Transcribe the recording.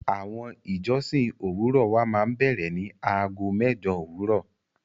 Awọn ìjọ̀ṣìn owurọ̀ wà mà n bẹ̀rẹ ni àágọ̀ mẹ́jọ̀ owurọ̀.